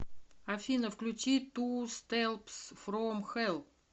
афина включи ту степс фром хелл